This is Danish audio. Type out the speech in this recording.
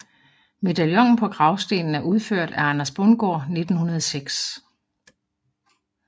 Medaljonen på gravstenen er udført af Anders Bundgaard 1906